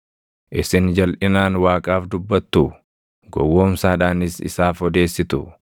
Isin jalʼinaan Waaqaaf dubbattuu? Gowwoomsaadhaanis isaaf odeessituu?